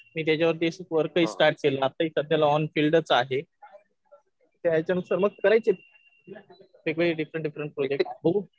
मी त्याच्यावरती वर्कही स्टार्ट केलं. आताही सध्याला ऑन फिल्डच आहे. त्याच्यानुसार मग करायचेत वेगवेगळे डिफ्रण्ट डिफ्रण्ट प्रोजेक्ट्स. बघू.